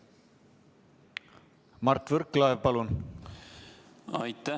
Mart Võrklaev, palun!